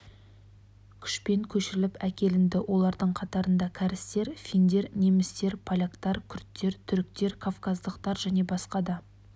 күшпен көшіріліп әкелінді олардың қатарында кәрістер финдер немістер поляктар күрттер түріктер кавказдықдар және басқа да